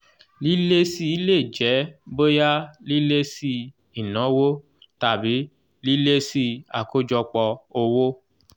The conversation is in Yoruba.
lílési lè jẹ́ bóyá lílési ìnáwó tàbí lílési àkọ́jọpọ̀ owó